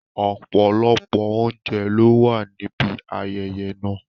Ọ̀pọ̀lọpọ̀ oúnjẹ ló wà níbi ayẹyẹ náà.